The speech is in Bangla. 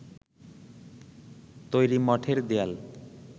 তৈরি মঠের দেয়াল